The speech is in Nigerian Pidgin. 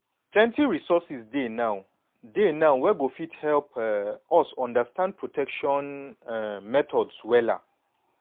plenty resources dey now dey now wey go fit help um us understand protection um methods wella